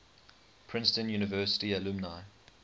princeton university alumni